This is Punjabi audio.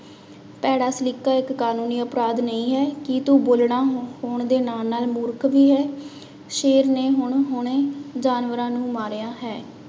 ਭੈੜਾ ਸਲੀਕਾ ਇੱਕ ਕਾਨੂੰਨੀ ਅਪਰਾਧ ਨਹੀਂ ਹੈ, ਕੀ ਤੂੰ ਬੋਲਣਾ ਹੋਣ ਦੇ ਨਾਲ ਨਾਲ ਮੂਰਖ ਵੀ ਹੈ, ਸ਼ੇਰ ਨੇ ਹੁਣ ਹੁਣੇ ਜਾਨਵਰਾਂ ਨੂੰ ਮਾਰਿਆ ਹੈ।